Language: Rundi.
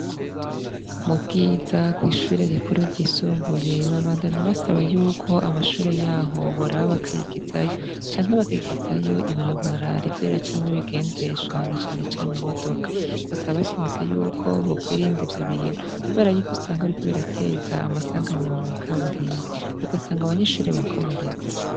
Mubwiza kwishure ryisumbuye babandanya basaba yuko amashure yaho boraba bakayigizayo canke bakigizayo ibarabara riza riracamwo ibigendeshwa na cane cane imodoka basaba bashimitse yuko bokwirinda ivyo bintu kubera yuko usanga biriko birateza amasanganya mwikaburimbi ugasanga abanyeshure bakomeretse.